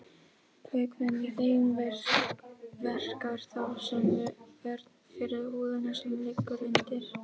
Vökvinn í þeim verkar þá sem vörn fyrir húðina sem liggur undir.